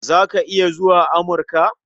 Za ka iya zuwa Amurka?